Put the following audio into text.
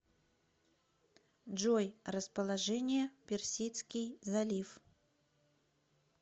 джой расположение персидский залив